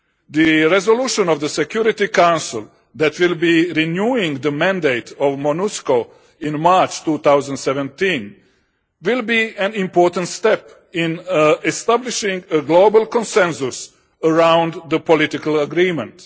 The resolution of the Security Council that will be renewing the mandate of MONUSCO in March 2017, will be an important step in establishing a global consensus around the political agreement.